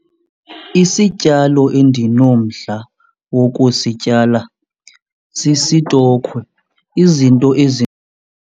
Isityalo endinomdla wokusityala sisitokhwe, izinto .